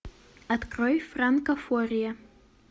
открой франка фория